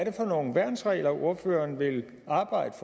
er for nogle værnsregler ordføreren vil arbejde